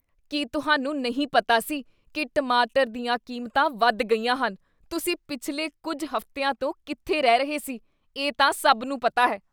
ਕੀ ਤੁਹਾਨੂੰ ਨਹੀਂ ਪਤਾ ਸੀ ਕੀ ਟਮਾਟਰ ਦੀਆਂ ਕੀਮਤਾਂ ਵੱਧ ਗਈਆਂ ਹਨ? ਤੁਸੀਂ ਪਿਛਲੇ ਕੁੱਝ ਹਫ਼ਤਿਆਂ ਤੋਂ ਕਿੱਥੇ ਰਹਿ ਰਹੇ ਸੀ, ਇਹ ਤਾਂ ਸਭ ਨੂੰ ਪਤਾ ਹੈ?